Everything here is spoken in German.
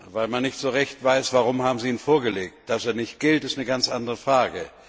Weil man nicht so recht weiß, warum sie ihn vorgelegt haben. Dass er nicht gilt, ist eine ganz andere Frage.